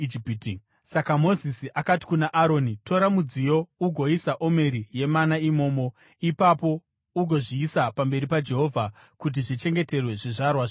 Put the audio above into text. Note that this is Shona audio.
Saka Mozisi akati kuna Aroni, “Tora mudziyo ugoisa omeri yemana imomo. Ipapo ugozviisa pamberi paJehovha kuti zvichengeterwe zvizvarwa zvinotevera.”